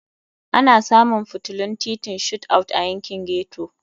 Ana samun fitilun titin Shot Out a yankin ghetto.